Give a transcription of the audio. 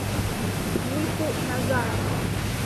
юльку назарову